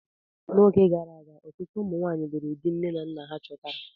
Oge gara aga, ọtụtụ ụmụ nwanyị lụrụ di nne na nna ha chọtara.